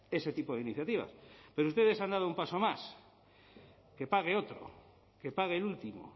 ese tipo de iniciativas pero ustedes han dado un paso más que pague otro que pague el último